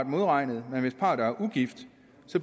modregnet men hvis parret er ugift